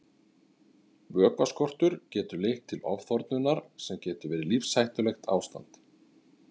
Vökvaskortur getur leitt til ofþornunar sem getur verið lífshættulegt ástand.